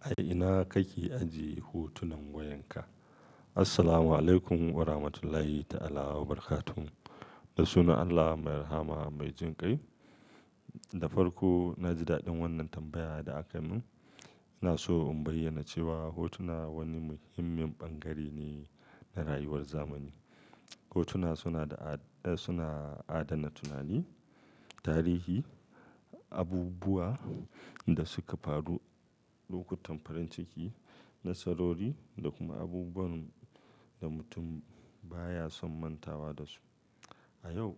A ina kake ajiye hotunan wayanka? Assalamualaikum warahmatullahi ta'ala wabarakatuh. Da sunan Allah mai rahama mai jin kai. Da farko, na ji daɗin wannan tambaya da aka yi min. Ina so in bayyana cewa hotuna wani muhimmin bangare ne na rayuwar zamani. Hotuna suna adana tunani, tarihi, abubuwa da suka faru, lokutan farin ciki nasarori da kuma abubuwan da mutum baya son mantawa da su. A yau,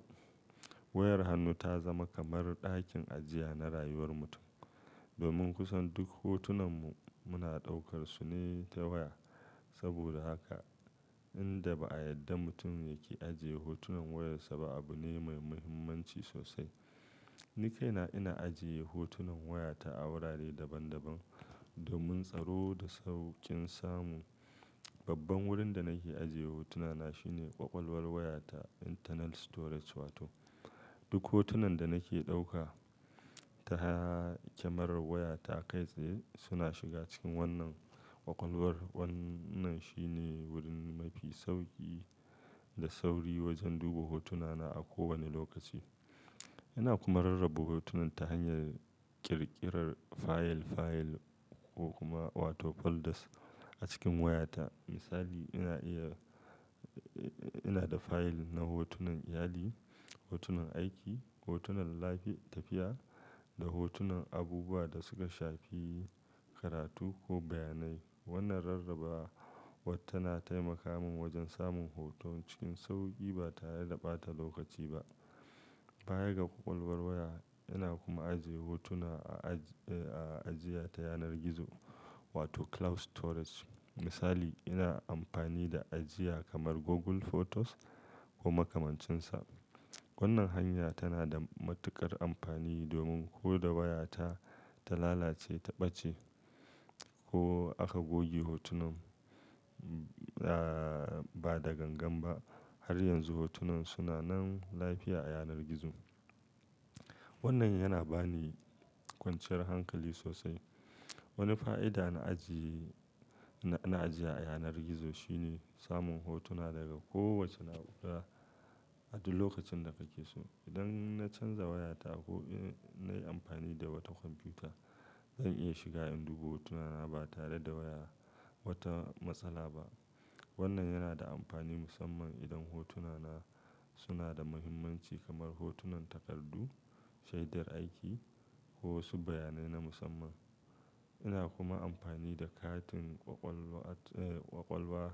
wayar hannu ta zama kamar ɗakin ajiya na rayuwar mutum. Domin kusan duk hotunanmu muna ɗaukar su ne ta waya. Saboda haka, inda ba a yadda mutum yake ajiye hotunan wayarsa ba abu ne mai muhimmanci sosai. Ni kaina ina ajiye hotunan wayata a wurare daban-daban domin tsaro da sauƙin samu. Babban wurin da nake ajiye hotunana shine kwakwalwar wayata "internal storage" wato. Duk hotunan da nake ɗauka ta kyamarar wayata kai tsaye suna shiga cikin wannan kwakwalwar. Wannan shine wurin mafi sauƙi da sauri wajen duba hotunana a kowane lokaci. Ina kuma rarraba hotunan ta hanyar ƙirƙirar fayil-fayil ko kuma wato folders a cikin wayata. Misali, ina da fayil na hotunan iyali, hotunan aiki, hotunan lafi tafiya, da hotunan abubuwa da suka shafi karatu ko bayanai. Wannan rarraba tana taimaka min wajen samun hoto cikin sauƙi ba tare da ɓata lokaci ba. Bayan ga kwakwalwar waya, ina kuma ajiye hotuna a ajiya ta yanar gizo wato "cloud storage". Misali, ina amfani da ajiya kamar Google Photos ko makamancinsa. Wannan hanya tana da matuƙar amfani domin ko da wayata ta lalace, ta ɓace ko aka goge hotunan ba da gangan ba, har yanzu hotunan suna nan lafiya a yanar gizo. Wannan yana ba ni kwanciyar hankali sosai. Wani fa'ida na ajiya a yanar gizo shine samun hotuna daga kowace na'ura a duk lokacin da kake so. Idan na canza wayata ko in nayi amfani da wata kwamfuta, zan iya shiga in duba hotunana ba tare da waya wata matsala ba. Wannan yana da amfani musamman idan hotunana suna da muhimmanci kamar hotunan takardu, shaidar aiki ko wasu bayanai na musamman. Ina kuma amfani da katin kwakwalwa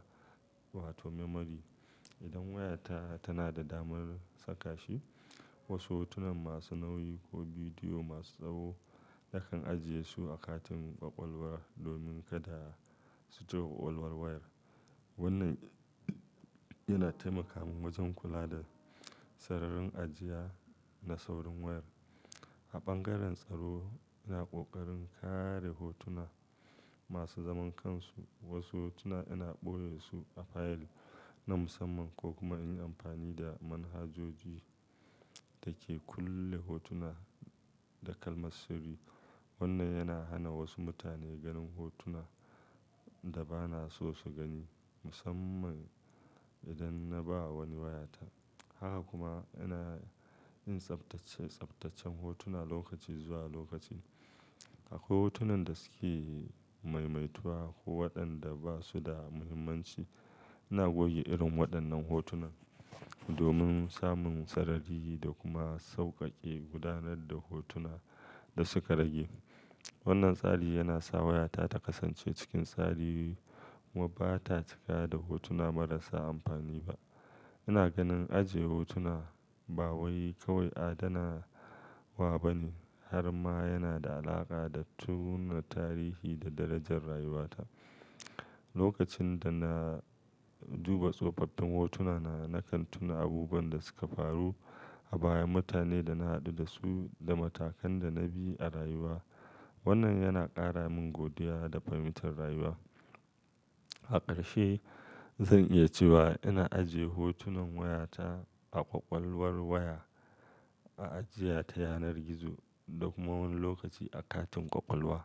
wato "memory" idan wayata tana da damar saka shi. Wasu hotunan masu nauyi ko bidiyo masu tsawo nakan ajiye su a katin kwakwalwar domin kada su ci kwakwalwar wayar. Wannan yana taimaka min wajen kula da sararin ajiya da saurin wayar. A bangaren tsaro, ina ƙoƙarin kare hotuna masu zaman kansu. Wasu hotuna ina ɓoye su a fayil na musamman ko kuma in yi amfani da manhajoji da ke kulle hotuna da kalmar sirri. Wannan yana hana wasu mutane ganin hotuna da ba na so su gani, musamman idan na ba wani wayata. Haka kuma, ina yin tsaftace tsaftacen hotuna lokaci zuwa lokaci. Akwai hotunan da suke maimaituwa ko waɗanda ba su da muhimmanci. Ina goge irin waɗannan hotunan domin samun sarari da kuma sauƙaƙe gudanar da hotuna da suka rage. Wannan tsari yana sa wayata ta kasance cikin tsari kuma ba ta cika da hotuna marasa amfani ba. Ina ganin ajiye hotuna ba wai kawai adana wa ba ne har ma yana da alaƙa da tuna tarihi da darajar rayuwata. Lokacin da na duba tsofaffin hotunana, na kantuna abubuwan da suka faru a baya, mutane da na haɗu da su, da matakan da na bi a rayuwa. Wannan yana ƙara min godiya da fahimtar rayuwa. A ƙarshe, zan iya cewa ina ajiye hotunan wayata a kwakwalwar waya, a ajiya ta yanar gizo da kuma wani lokaci a katin kwakwalwa.